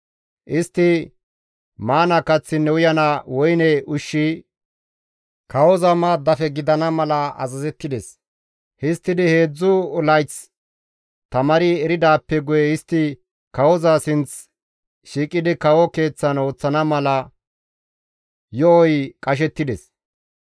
Istti maana kaththinne uyana woyne ushshi kawoza maaddafe gidana mala azazettides; histtidi heedzdzu layth tamaari eridaappe guye istti kawoza sinth shiiqidi kawo keeththan ooththana mala yo7oy qashettides.